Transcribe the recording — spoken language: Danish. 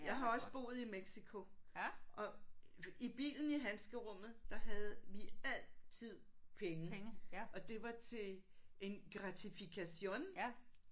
Jeg har også boet i Mexico og i bilen i handskerummet der havde vi altid penge og det var til en gratificación